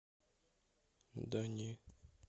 да не